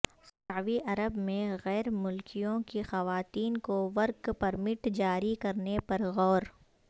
سعوی عرب میں غیرملکیوں کی خواتین کو ورک پرمٹ جاری کرنے پر غور